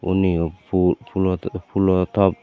unnioh puh pulo puloh top.